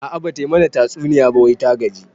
A'a bata mana tatsuniya ba wai ta gaji